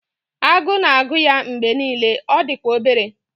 Agụụ na-agụ ya mgbe niile, ọ dị kwa obere